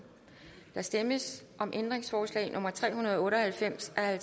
der stemmes om ændringsforslag nummer tre hundrede og otte og halvfems af